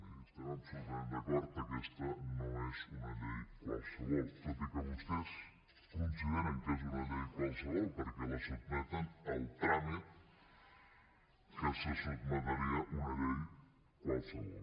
miri estem absolutament d’acord aquesta no és una llei qualsevol tot i que vostès consideren que és una llei qualsevol perquè la sotmeten al tràmit a què se sotmetria una llei qualsevol